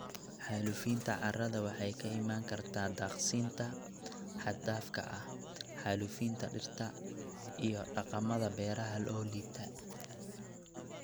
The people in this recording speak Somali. Xaalufinta carrada waxay ka iman kartaa daaqsinta xad dhaafka ah, xaalufinta dhirta, iyo dhaqamada beeraha oo liita.